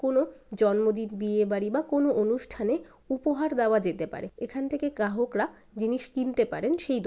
কোনো জন্মদিন বিয়ে বাড়ি বা কোনো অনুষ্ঠানে উপহার দেওয়া যেতে পারে। এখান থেকে গ্রাহকরা জিনিস কিনতে পারেন সেই দো--